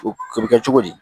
O bɛ kɛ cogo di